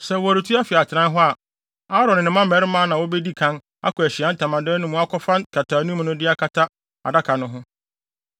Sɛ wɔretu afi atenae hɔ a, Aaron ne ne mma mmarima na wobedi kan akɔ Ahyiae Ntamadan no mu akɔfa nkataanim no de akata adaka no ho.